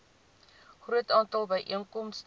groot aantal byeenkomste